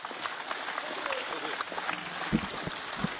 Non si fa più dibattito, adesso passiamo alle votazioni.